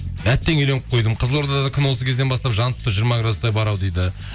әттең үйленіп қойдым қызылорда да күн осы кезден бастап жанып тұр жиырма граудстай бар ау дейді